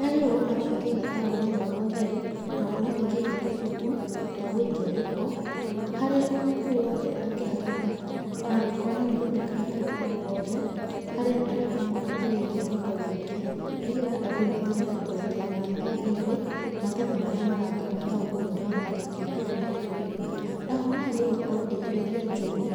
Nĩ yagĩrĩirwo gũkorwo ĩkĩiga taũni ĩyo na ũtheru, na gũkorwo ĩkĩiga tũcuku twa gũikia gĩko, harĩa o mũndũ wothe akĩhatũka ona angĩkorwo nĩ anyitĩte karatathi o gothe, harĩa arĩkoragwo agĩikia gĩko gĩake, nĩ getha andũ matigage kũrekia maratahi thĩ, maratathi marĩa maratũma taũni ĩyo yoneke ĩna gĩko mũno. Naho nĩ yagĩrĩirwo gũkorwo ĩgĩtheria njũĩ.